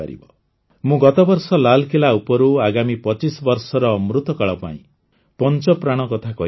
ମୁଁ ଗତବର୍ଷ ଲାଲକିଲ୍ଲା ଉପରୁ ଆଗାମୀ ୨୫ ବର୍ଷର ଅମୃତକାଳ ପାଇଁ ପଞ୍ଚପ୍ରାଣ କଥା କହିଥିଲି